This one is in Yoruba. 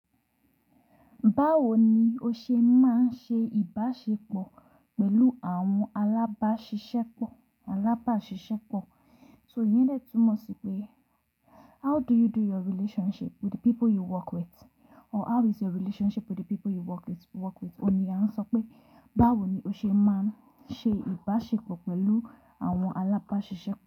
Báwo ni o ṣe máa ń ṣe ìbáṣepọ̀ pẹ̀lú àwọn alábásisépọ alábáṣiṣẹ́pọ̀? So ìyẹn lè túmọ̀ sí pé how do you do your relationship with the people you work with? Or how is your relationship with the people you work with? Ó ni a ń sọ pé báwo ni o ṣe máa ń ṣe ìbáṣepọ̀ pẹ̀lú àwọn alábáṣiṣẹ́pọ̀